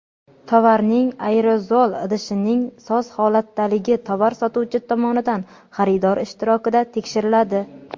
Tovarning aerozol idishining soz holatdaligi tovar sotuvchi tomonidan xaridor ishtirokida tekshiriladi.